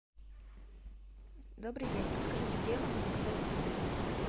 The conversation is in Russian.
добрый день подскажите где я могу заказать цветы